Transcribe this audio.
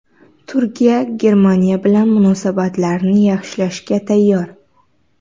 Turkiya Germaniya bilan munosabatlarni yaxshilashga tayyor.